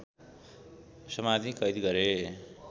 समाती कैद गरे